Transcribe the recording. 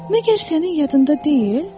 Məgər sənin yadında deyil?